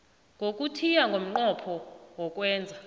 yokuthiya ngomnqopho wokwenza